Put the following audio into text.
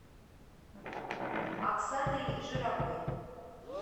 оксаной жировой